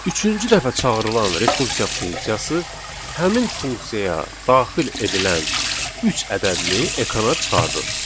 Üçüncü dəfə çağırılan rekursiya funksiyası həmin funksiyaya daxil edilən üç ədədini ekrana çıxardır.